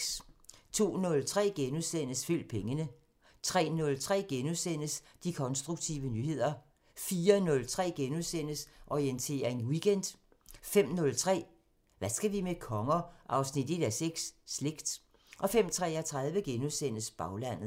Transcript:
02:03: Følg pengene * 03:03: De konstruktive nyheder * 04:03: Orientering Weekend * 05:03: Hvad skal vi med konger? 1:6 – Slægt 05:33: Baglandet *